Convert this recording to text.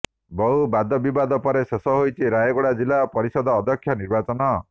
ବହୁ ବାଦବିବାଦ ପରେ ଶେଷ ହୋଇଛି ରାୟଗଡା ଜିଲ୍ଲା ପରିଷଦ ଅଧ୍ୟକ୍ଷ ନିର୍ବାଚନ